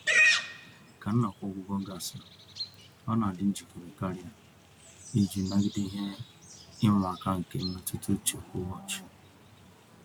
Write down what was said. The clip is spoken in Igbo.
Ka nnọkọ ọgwụgwọ gasịrị, ọ na adị njikere karịa iji nagide ihe ịma aka nke mmetuta uche kwa ụbọchị.